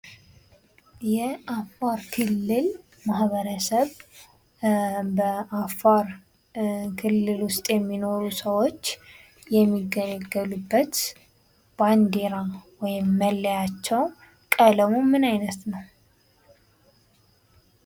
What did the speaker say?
የአፋር ክልል ማህበረሰብ፤ በአፋር ክልል ውስጥ የሚኖሩ ሰወች የሚገለገሉበት ባንዲራ ወይም መለያቸው ቀለሙ ምን አይነት ነው?